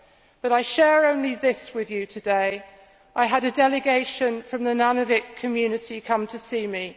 But I share only this with you today I had a delegation from the Nunavut community come to see me.